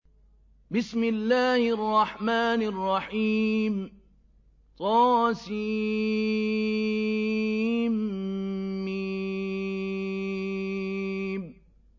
طسم